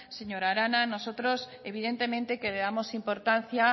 señor arana nosotros evidentemente que le damos importancia